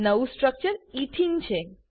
નવું structure ethene ethene છે